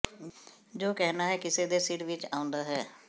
ਜੋ ਕਹਿਣਾ ਹੈ ਕਿਸੇ ਦੇ ਸਿਰ ਵਿਚ ਆਉਂਦਾ ਹੈ